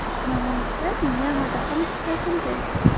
Namoyishlar Myanmada ham kuzatildi.